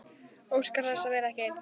Óskar þess að vera ekki ein.